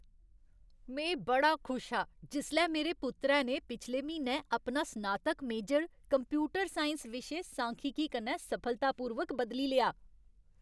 में बड़ा खुश हा जिसलै मेरे पुत्तरै ने पिछले म्हीनै अपना स्नातक मेजर कंप्यूटर साइंस विशे सांख्यिकी कन्नै सफलतापूर्वक बदली लेआ।